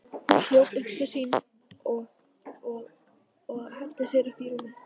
Hún hljóp upp til sín og henti sér í rúmið.